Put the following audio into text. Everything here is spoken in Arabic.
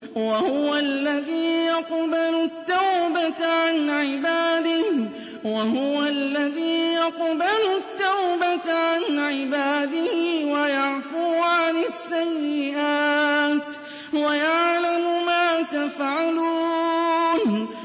وَهُوَ الَّذِي يَقْبَلُ التَّوْبَةَ عَنْ عِبَادِهِ وَيَعْفُو عَنِ السَّيِّئَاتِ وَيَعْلَمُ مَا تَفْعَلُونَ